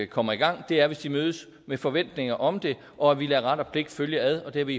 kommer i gang er hvis de mødes med forventninger om det og at vi lader ret og pligt følges ad og det har vi